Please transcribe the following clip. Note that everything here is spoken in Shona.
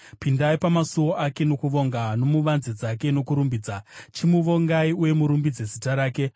Pindai pamasuo ake nokuvonga nomuvanze dzake nokurumbidza; chimuvongai uye murumbidze zita rake.